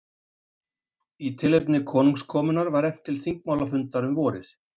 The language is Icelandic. Í tilefni konungskomunnar var efnt til þingmálafundar um vorið.